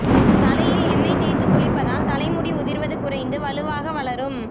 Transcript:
தலையில் எண்ணெய் தேய்த்துக் குளிப்பதால் தலைமுடி உதிர்வது குறைந்து வலுவாக வளரும்